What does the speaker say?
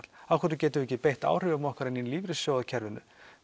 af hverju getum við ekki beitt áhrifum okkar inni í lífeyrissjóðakerfinu